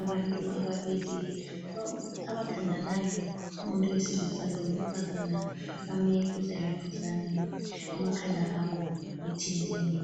Abantu ababili abathandanayo umuntu wesilisa lowesifazana bame duzeladuzane, amakhanda abo ethintene.